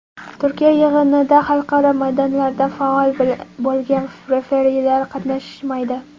Turkiya yig‘inida xalqaro maydonlarda faol bo‘lgan referilar qatnashishmaydi.